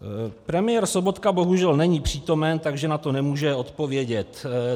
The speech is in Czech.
Premiér Sobotka bohužel není přítomen, takže na to nemůže odpovědět.